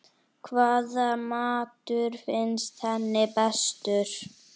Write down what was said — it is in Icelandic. Hvaða matur finnst henni bestur?